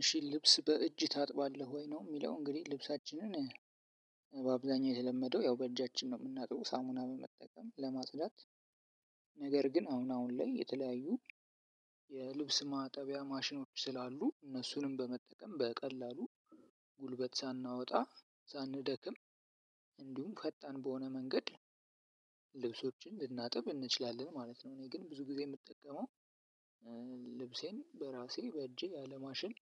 እሽ ልብስ በእጅ ታጥባለህ ወይ ነው ምለው። እንግዲህ ልብሳችንን በአብዛኛው የተለመደው ያው በእጃችን ነው የምናጥበው። ሳሙና በመጠቀም ለማጽዳት ነገር ግን አሁን አሁን ላይ የተለያዩ የልብስ ማጠቢያ ማሽኖች ስላሉ እነሱንም በመጠቀም በቀላሉ ጉልበት ሳናወጣ፣ ሳንደክም እንዲሁም ፈጣን በሆነ መንገድ ልናጥብ እንችላለን ማለት ነው። እኔ ግን ብዙ ጊዜ የምጠቀመው ልብሴን በራሴ በእጄ ያለ ማሽን